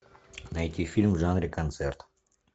найти фильм в жанре концерт